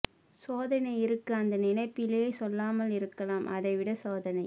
சோதனை இருக்கு அந்த நினைப்பிலை சொல்லாமல் இருக்கலாம் அதை விட சோதனை